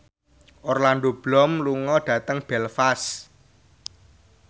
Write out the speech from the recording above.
Orlando Bloom lunga dhateng Belfast